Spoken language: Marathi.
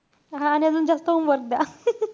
हा आणि अजून जास्त homework द्या.